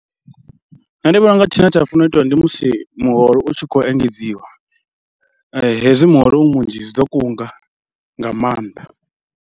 Nṋe ndi vhona u nga tshine tsha funa u itiwa ndi musi muholo u tshi khou engedziwa hezwi muholo u munzhi zwi ḓo kunga nga maanḓa.